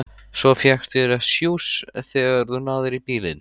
Svo fékkstu þér sjúss þegar þú náðir í bílinn.